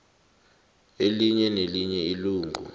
elinye nelinye ilungu